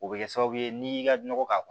O bɛ kɛ sababu ye n'i y'i ka nɔgɔ k'a kɔ